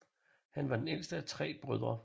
Han var den ældste af tre brødre